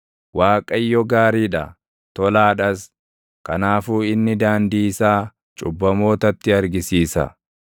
Waaqayyo gaarii dha; tolaadhas; kanaafuu inni daandii isaa cubbamootatti argisiisa.